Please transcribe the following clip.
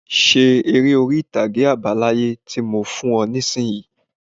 Ṣe eré orí-ìtàgé àbá láyé tí mo fún ọ nisinyi!